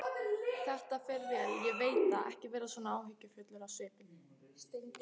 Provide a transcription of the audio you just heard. Þetta fer vel, ég veit það, ekki vera svona áhyggjufull á svipinn.